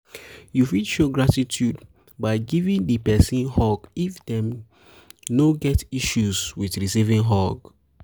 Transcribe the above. you fit show gratitude by giving di person hug if dem dem no get issue with recieving hug